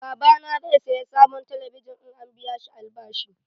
Babana zai saya sabon talabijin in an biya shi albashi.